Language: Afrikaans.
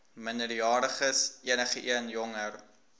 minderjariges enigeen jonger